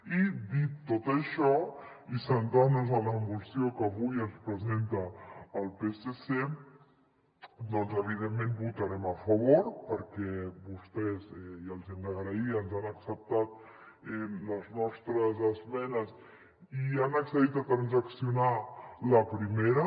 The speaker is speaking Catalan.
i dit tot això i centrant nos en la moció que avui ens presenta el psc evidentment hi votarem a favor perquè vostès i els hi hem d’agrair ens han acceptat les nostres esmenes i han accedit a transaccionar la primera